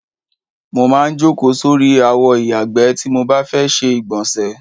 Mo maá ń jókòó sórí àwo ìyàgbẹ́ tí mo bá ti fẹ́ ṣe ìgbọ̀nsè.